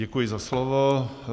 Děkuji za slovo.